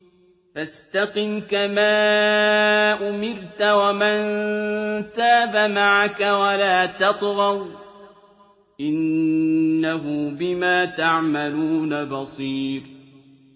فَاسْتَقِمْ كَمَا أُمِرْتَ وَمَن تَابَ مَعَكَ وَلَا تَطْغَوْا ۚ إِنَّهُ بِمَا تَعْمَلُونَ بَصِيرٌ